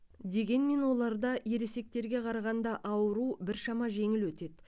дегенмен оларда ересектерге қарағанда ауру біршама жеңіл өтеді